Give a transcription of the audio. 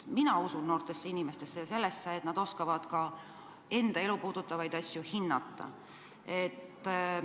Mina usun noortesse inimestesse ja sellesse, et nad oskavad enda elu puudutavaid asju hinnata.